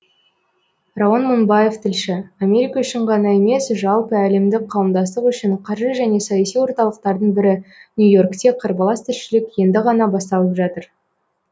рауан мыңбаев тілші америка үшін ғана емес жалпы әлемдік қауымдастық үшін қаржы және саяси орталықтардың бірі нью и оркте қарбалас тіршілік енді ғана басталып жатыр